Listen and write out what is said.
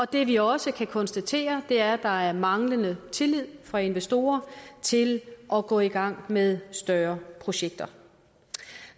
det vi også kan konstatere er at der er en manglende tillid fra investorerne til at gå i gang med større projekter